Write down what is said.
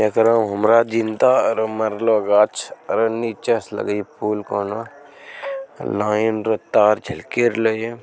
एकरों हमारा जिंदा और मरलो गाछ औरी नीचे से लगई फूल कोनो। लाइन र तार झलकी रहले ये।